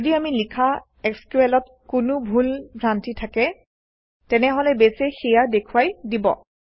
যদি আমি লিখা SQLত কোনো ভুল ভ্ৰান্তি থাকে তেনেহলে বেছে সেয়া দেখুৱাই দিব